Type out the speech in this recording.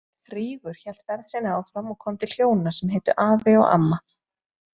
Rígur hélt ferð sinni áfram og kom til hjóna sem hétu Afi og Amma.